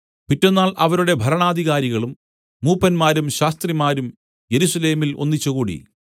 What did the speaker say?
പിറ്റെന്നാൾ അവരുടെ ഭരണാധികാരികളും മൂപ്പന്മാരും ശാസ്ത്രിമാരും യെരൂശലേമിൽ ഒന്നിച്ചുകൂടി